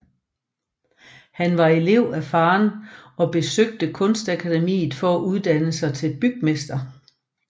Han var elev af faderen og besøgte Kunstakademiet for at uddanne sig til bygmester